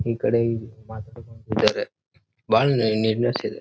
ಈ ಕಡೆ ಬಹಳ ನೀಟ್ನೆಸ್ ಇದೆ.